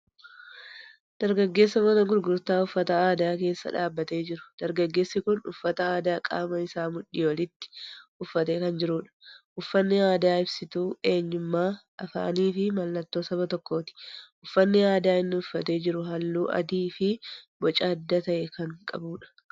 Dargaggeessa mana gurgurtaa uffata aadaa keessa dhaabbatee jiru. Dargaggeessi kun uffata aadaa qaama isaa mudhii oliitti uffatee kan jirudha. Uffanni aadaa ibsituu eenyummaa, afaanii fi mallattoo saba tokkooti. Uffanni aadaa inni uffatee jiru halluu adii fi boca adda ta'e kan qabudha.